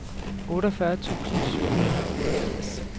otteogfyrre tusind syv hundrede og otteogfirs